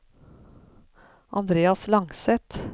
Andreas Langseth